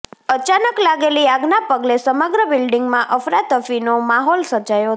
અચાનક લાગેલી આગના પગલે સમગ્ર બિલ્ડીંગમાં અફરા તફીનો માહોલ સર્જાયો હતો